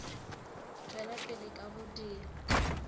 tšwela pele ka go dira